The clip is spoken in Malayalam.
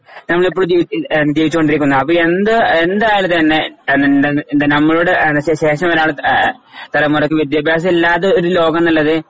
ഞാൻ ഇപ്പോഴും ജീവി എന്റെ ജീവിച്ചോണ്ടിരിക്കുന്ന എന്റെ എന്റെ കാലത്തുതന്നെ എന്റെ നമ്മളുടെ ശേ ശേഷം വരാനുള്ള ഏ തലമുറയ്ക്ക് വിദ്ത്യഭ്യാസം ഇല്ലാത്തൊരു ലോകം എന്നുള്ളത്